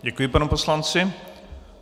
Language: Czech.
Děkuji panu poslanci.